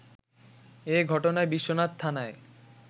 এ ঘটনায় বিশ্বনাথ থানায়